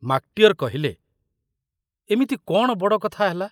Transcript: ମାକଟିଅର କହିଲେ, ଏମିତି କଣ ବଡ଼ କଥା ହେଲା?